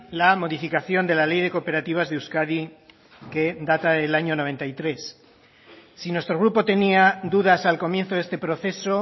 la modificación de la ley de cooperativas de euskadi que data del año noventa y tres si nuestro grupo tenía dudas al comienzo de este proceso